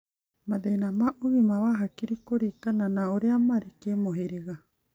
Mathĩna ma ũgima wa hakiri kũringana na ũrĩa marĩ kĩmũhĩrĩga.